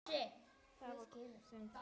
Það var hún sem kaus!